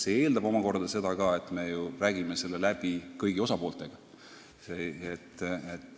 See eeldab omakorda ka seda, et me räägime süsteemi läbi kõigi osapooltega.